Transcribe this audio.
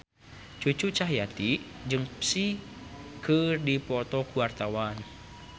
Cucu Cahyati jeung Psy keur dipoto ku wartawan